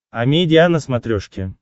амедиа на смотрешке